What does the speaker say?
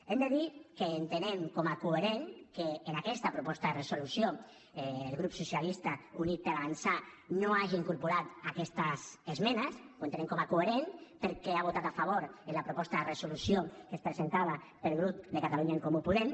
hem de dir que entenem com a coherent que en aquesta proposta de resolució el grup socialista i units per avançar no hagi incorporat aquestes esmenes ho entenem com a coherent perquè ha votat a favor de la proposta de resolució que es presentava pel grup de catalunya en comú podem